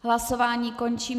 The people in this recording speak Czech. Hlasování končím.